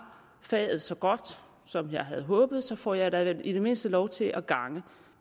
faget så godt som jeg havde håbet får jeg da i det mindste lov til at gange